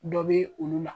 Dɔ bɛ olu la